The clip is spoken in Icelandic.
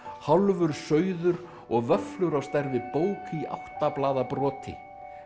hálfur sauður og vöfflur á stærð við bók í átta blaða broti